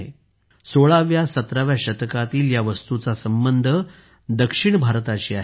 16 17 व्या शतकातील या वस्तूचा सबंध दक्षिण भारताशी आहे